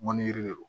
Mɔnni yɛrɛ de don